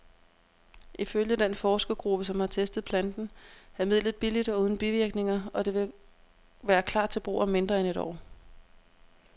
Ifølge den forskergruppe, som har testet planten, er midlet billigt og uden bivirkninger, og det vil klar til brug om mindre end et år.